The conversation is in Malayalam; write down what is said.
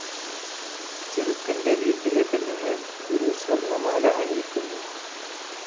ചെറുക്കന്റെ വീട്ടിലെ പെണ്ണുങ്ങൾ ഒരു സ്വർണമാല അണിയിക്കുന്നു.